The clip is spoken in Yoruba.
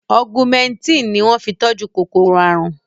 Ọgúmẹtìn ni wọ́n fi tọ́jú kòkòrò àrùn